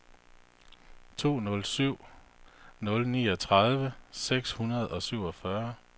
to nul syv nul niogtredive seks hundrede og syvogfyrre